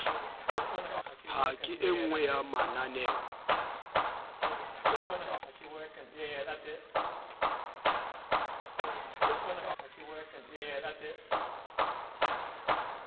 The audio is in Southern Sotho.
ha ke enngwe ya mamaneo